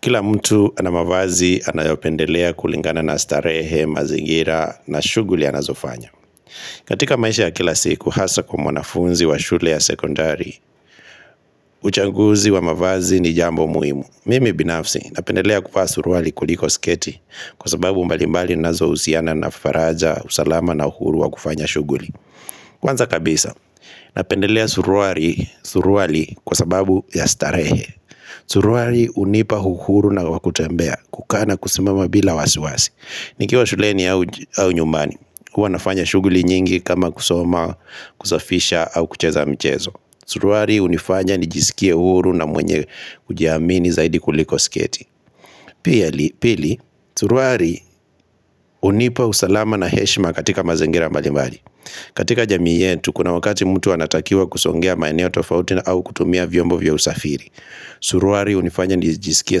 Kila mtu ana mavazi anayopendelea kulingana na starehe, mazingira na shughuli anazofanya. Katika maisha ya kila siku hasa kwa mwanafunzi wa shule ya sekondari Uchanguzi wa mavazi ni jambo muhimu. Mimi binafsi napendelea kuvaa suruali kuliko sketi kwa sababu mbalimbali nazo husiana na faraja usalama na uhuru wa kufanya shughuli Kwanza kabisa, napendelea suruali surwali kwa sababu ya starehe Suruari hunipa uhuru na wakutembea, kukaa na kusimama bila wasi wasi nikiwa shuleni au nyumbani, huwa nafanya shughuli nyingi kama kusoma, kusafisha au kucheza mchezo suruari hunifanya nijisikie huru na mwenye kujiamini zaidi kuliko sketi Pili, suruari hunipa usalama na heshima katika mazingira mbalimbali. Katika jamii yetu, kuna wakati mtu anatakiwa kusongea maeneo tofauti na au kutumia vyombo vya usafiri Suruari hunifanya nijisikie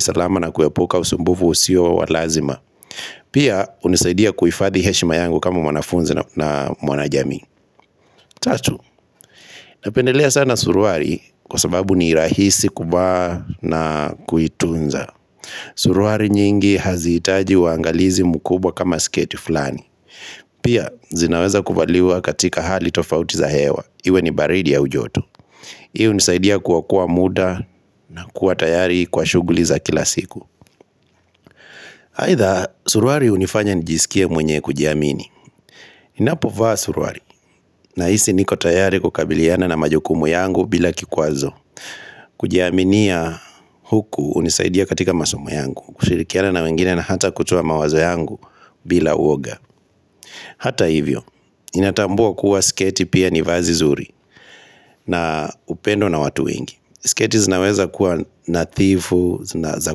salama na kuepuka usumbufu usio wa lazima Pia unisaidia kuifadhi heshima yangu kama mwanafunzi na mwanajami Tatu, napendelea sana suruari kwa sababu ni rahisi kuvaa na kuitunza Suruari nyingi hazi hitaji uwaangalizi mkubwa kama sketi fulani Pia zinaweza kuvaliwa katika hali tofauti za hewa iwe ni baridi au joto Hii hunisaidia kuwakuwa muda na kuwa tayari kwa shughuli za kila siku Aidha suruari hunifanya nijisikie mwenye kujiamini Napo vaa suruari nahisi niko tayari kukabiliana na majukumu yangu bila kikwazo Kujiaminia huku hunisaidia katika masomu yangu kushirikiana na wengine na hata kutua mawazo yangu bila uoga Hata hivyo, inatambua kuwa sketi pia ni vazi zuri na upendo na watu wengi. Sketi zinaweza kuwa nadhifu zina za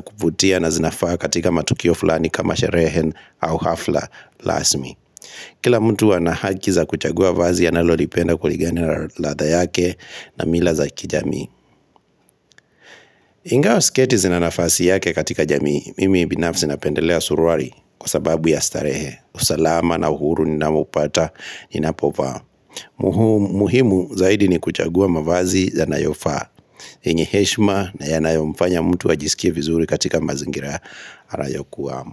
kuvutia na zinafaa katika matukio fulani kama sherehe au hafla rasmi Kila mtu ana haki za kuchagua vazi analolipenda kuligana na latha yake na mila za kijamii Ingawa siketi zinanafasi yake katika jamii, mimi binafsi napendelea suruari kwa sababu ya starehe, usalama na uhuru ni nawoupata ninapo vaa Muhumi zaidi ni kuchagua mavazi yanayofaa ii yenye heshma na yanayomfanya mtu ajisikie vizuri katika mazingira anayokuwa.